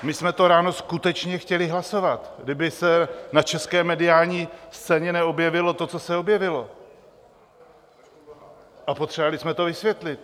My jsme to ráno skutečně chtěli hlasovat, kdyby se na české mediální scéně neobjevilo to, co se objevilo, a potřebovali jsme to vysvětlit.